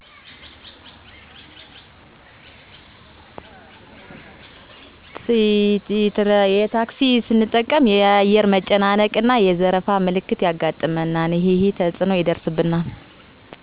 አብዛኛውን ጊዜ ታክሲ ነው ምጠቀመው። በቀን እስከ አምሳ ብር ለታክሲ እከፍላለሁ። በኛ አካባቢ ጥዋትናምሽት ታክሲ ይጠፋና ሌላ አማራጮችን እጠቀማለሁ። እንደ ባጃጅ፣ ላዳእና አውቶቢስ የሚገጥመኝ እንከን ትራፊክ በማይኖርበት ጊዜ ታክሲወች ከልክ በላይ በሚጭኑበት ወቅት ለምን እንዲህ ታደርጋላችሁ ስላቸው ከኔጋር የመነጋገር እና ወርጀ በእግሬ ካለያም ሌላ አመራጭ እስከ መጠቀም ድረስ ነው።